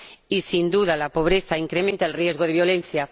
Y, sin duda, la pobreza incrementa el riesgo de violencia.